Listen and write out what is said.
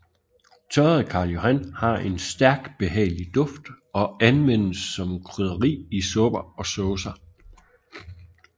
Tørret Karl Johan har en stærk behagelig duft og anvendes som krydderi i supper og saucer